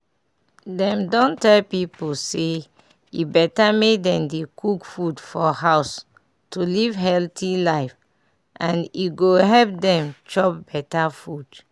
dem don tell pipu say e better make dem dey cook food for house to live healthy lfe and e go help dem chop better food.